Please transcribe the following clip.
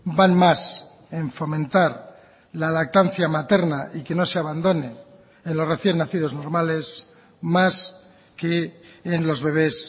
van más en fomentar la lactancia materna y que no se abandone en los recién nacidos normales más que en los bebes